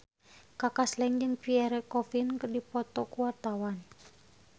Kaka Slank jeung Pierre Coffin keur dipoto ku wartawan